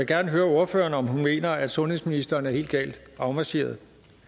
gerne høre ordføreren om hun mener at sundhedsministeren er helt galt afmarcheret